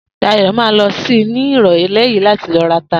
Dayo ma lọ sí ní ìrọ̀lẹ́ yìí láti ló rata